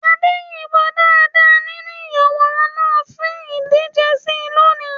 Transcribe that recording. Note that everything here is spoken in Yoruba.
Ade yìnbọn dáadáa nínú ìyàwòrán náà fi ìdíje sí i lónìí.